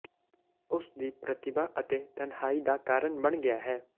ਉਸ ਦੀ ਪ੍ਰਤਿਭਾ ਅਤੇ ਤਨਹਾਈ ਦਾ ਕਾਰਨ ਬਣ ਗਿਆ ਹੈ